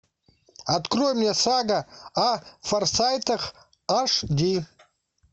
открой мне сага о форсайтах аш ди